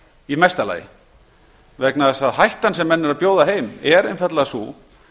í mesta lagi vegna þess að hættan sem menn eru að bjóða heim er einfaldlega sú